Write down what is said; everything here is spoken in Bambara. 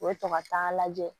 U bɛ to ka taa lajɛ